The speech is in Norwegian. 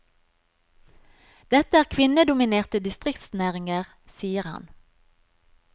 Dette er kvinnedominerte distriktsnæringer, sier han.